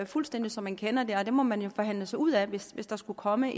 fuldstændig som man kender det og det må man jo så forhandle sig ud af hvis hvis der skulle komme